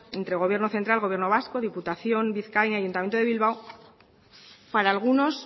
entre gobierno central gobierno vasco diputación de bizkaia y ayuntamiento de bilbao para algunos